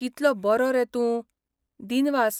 कितलो बरो रे तूं, दिनवास.